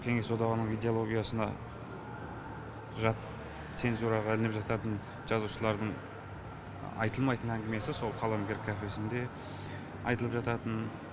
кеңес одағының идеологиясына жат цензураға ілініп жататын жазушылардың айтылмайтын әңгімесі сол қаламгер кафесінде айтылып жататын